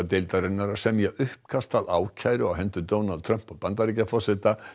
deildarinnar að semja uppkast að ákæru á hendur Donald Trump Bandaríkjaforseta